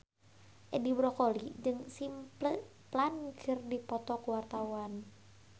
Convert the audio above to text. Edi Brokoli jeung Simple Plan keur dipoto ku wartawan